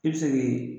I bɛ se k'i